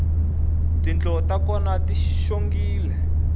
tindlo ta kona ti xongile